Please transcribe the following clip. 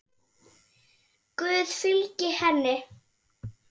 Guð fylgi henni.